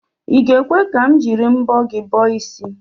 I ga-ekwe ka m jiri mbọ gị bọọ isi?